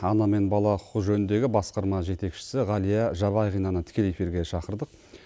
ана мен бала құқығы жөніндегі басқарма жетекшісі ғалия жабағинаны тікелей эфирге шақырдық